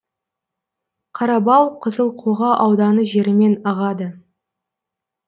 қарабау қызылқоға ауданы жерімен ағады